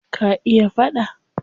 Ka iya faɗa?